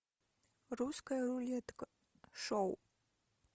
русская рулетка шоу